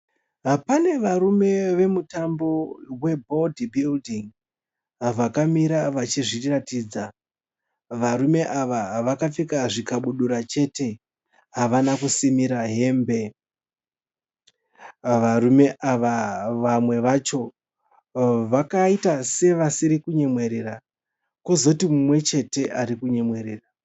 Pane varume vemutambo we "body building"vakamira vachizviratidza. Varume ava vakapfeka zvikabudura chete havana kusimira hembe. Varume ava vamwe vacho vakaita sevasiri kunyemwerera kwozoti mumwe chete ari kunyemwerera.